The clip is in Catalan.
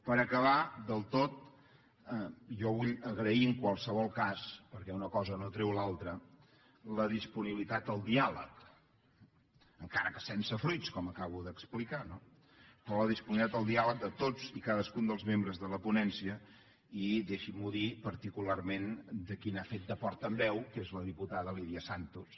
per acabar del tot jo vull agrair en qualsevol cas perquè una cosa no treu l’altra la disponibilitat al diàleg encara que sense fruits com acabo d’explicar no però la disponibilitat al diàleg de tots i cadascun dels membres de la ponència i deixin m’ho dir particularment de qui n’ha fet de portaveu que és la diputada lídia santos